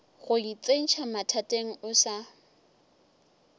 go itsentšha mathateng o sa